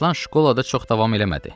Əmiraslan şkolada çox davam eləmədi.